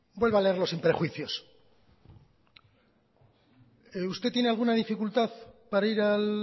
vuelva a leerlo sin prejuicios usted tiene alguna dificultad para ir al